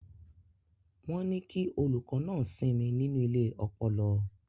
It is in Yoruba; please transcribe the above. Wọ́n ní kí olùkọ́ náà sinmi nínú ilé ọpọlọ.